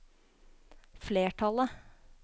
flertallet